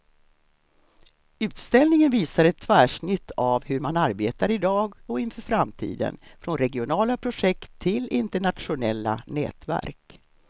Utställningen visar ett tvärsnitt av hur man arbetar i dag och inför framtiden, från regionala projekt till internationella nätverk.